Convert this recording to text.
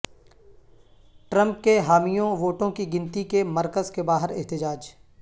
Trump کے حامیوں ووٹوں کی گنتی کے مرکز کے باہر احتجاج